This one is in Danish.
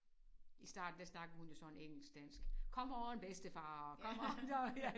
I starten der snakkede hun jo sådan engelsk dansk come on bedstefar come on